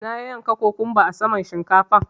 Na yanyanka kokumba a saman shinkafar.